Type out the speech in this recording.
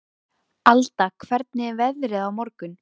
Alda, hvernig er veðrið á morgun?